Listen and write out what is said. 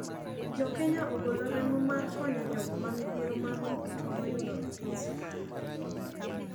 Jokenya ogolo remo mar konyo jogo mamidhiero mar murutu noyudo e piny Somalia.